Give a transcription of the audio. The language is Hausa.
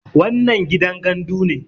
wannan gidan gandu ne